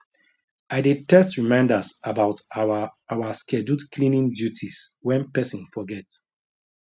i dey text reminders about our our scheduled cleaning duties when person forget